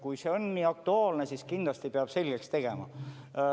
Kui see on nii aktuaalne, siis kindlasti peab selgeks tegema.